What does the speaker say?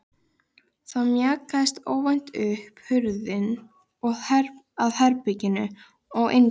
Þá mjakaðist óvænt upp hurðin að herberginu og inn gekk